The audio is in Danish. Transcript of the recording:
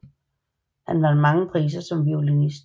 Han vandt mange priser som violinist